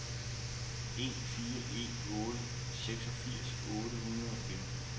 en fire en otte seksogfirs otte hundrede og femten